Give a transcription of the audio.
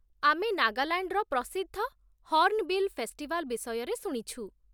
ଆମେ ନାଗାଲାଣ୍ଡର ପ୍ରସିଦ୍ଧ 'ହର୍ଣ୍ଣବିଲ୍ ଫେଷ୍ଟିଭାଲ୍' ବିଷୟରେ ଶୁଣିଛୁ ।